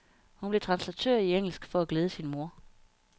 Hun blev translatør i engelsk for at glæde sin mor.